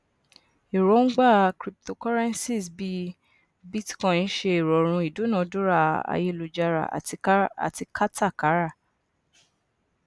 erongba cryptocurrencies bíi bitcoin ṣe ìrọrùn ìdúnadúrà ayélujára àti katakara